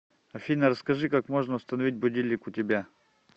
афина расскажи как можно установить будильник у тебя